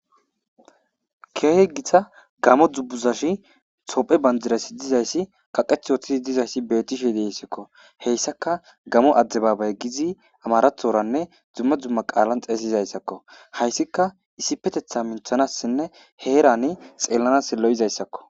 Keahe gita gamo dzubbuzashi tophe banjirasi dizayssi kaqeth woththidi dizayssi betishe deissikko heyssaka gamo adde baabay gizi amarathoranne dzumma dzumma qaalan xeesizayssakko hayssika issipetetha minthanassinne heerani xeellanas lo'izayssakko.